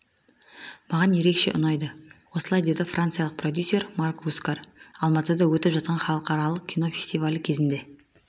маған ерекше ұнайды осылай деді франциялық продюсер марк рускар алматыда өтіп жатқан халықаралық кинофестивалі кезінде